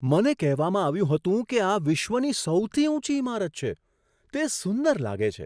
મને કહેવામાં આવ્યું હતું કે આ વિશ્વની સૌથી ઊંચી ઈમારત છે. તે સુંદર લાગે છે!